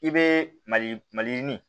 I bɛ mali maliyirini